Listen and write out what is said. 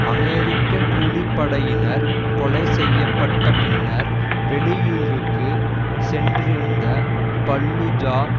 அமெரிக்க கூலிப்படையினர் கொலை செய்ய பட்ட பின்னர் வெளியூருக்கு சென்றிருந்த பல்லூஜா